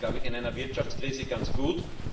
Das ist in einer Wirtschaftskrise ganz gut.